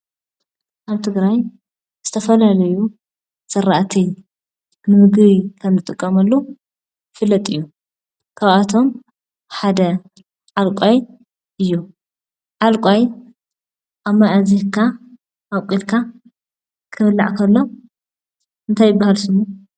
ኣብ ትግራይ ዝተፈላለዩ ዝራእቲ ንምግቢ ከም እንጥቀመሉ ይፍለጥ እዩ:: ካብ እቶም ሓደ ዓልቃይ እዩ። ዓልቃይ ኣብ ማይ ኣዚካ ኣቡቂልካ ክብላዕ ከሎ እንታይ ይበሃል ስሙ?